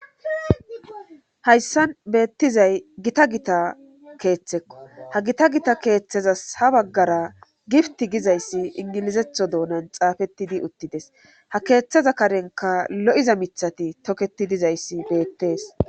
hayssan beettizay gita gita keeththekko ha gita gita keeththezas ha baggara gipti gizayssi ingilizetho doonan xaafettidi uttides ha keeththeza karenka lo7iza mithati toketi dizayssi beettees